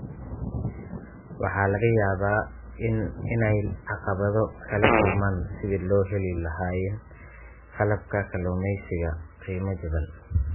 Waxaa laga yaabaa inay caqabado kala kulmaan sidii loheli lahaayeen qalabka kalluumeysiga qiimo jaban.